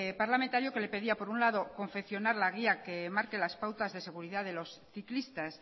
parlamentario que le pedía por un lado confeccionar la guía que marque las pautas de seguridad de los ciclistas